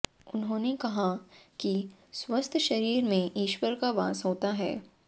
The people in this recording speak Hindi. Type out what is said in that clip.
उन्होंने कहा कि स्वस्थ शरीर में ईश्वर का वास होता है